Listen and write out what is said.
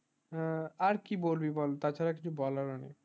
আর কি বলবি বল তার ছাড়া কিছু বলার ও নেই